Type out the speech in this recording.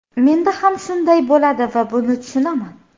Menda ham shunday bo‘ladi va buni tushunaman.